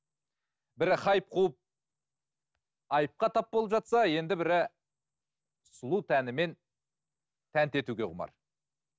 бірі хайп қуып айыпқа тап болып жатса енді бірі сұлу тәнімен тәнті етуге құмар